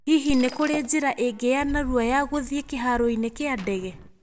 Hihi nĩ kũrĩ njĩra ĩngĩ ya narua ya gũthiĩ kĩhaaro-inĩ kĩa ndege?